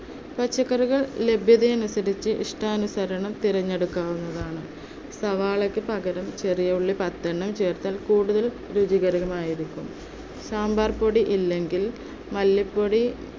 പച്ചക്കറികൾ ലഭ്യത അനുസരിച്ച് ഇഷ്ടാനുസരണം തിരഞ്ഞെടുക്കാവുന്നതാണ്. സവാളക്ക് പകരം ചെറിയ ഉള്ളി പത്തെണ്ണം ചേർത്താൽ കൂടുതൽ രുചികരം ആയിരിക്കും. സാമ്പാർ പൊടി ഇല്ലെങ്കിൽ മല്ലിപ്പൊടി